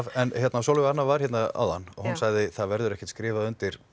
en Sólveig Anna var hérna áðan og hún sagði að það verði ekkert skrifað undir